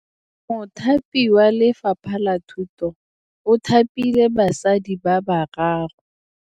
Mothapi wa Lefapha la Thutô o thapile basadi ba ba raro.